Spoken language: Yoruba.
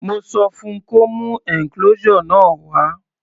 Mo sọ fun kó mú enclosure náà wá.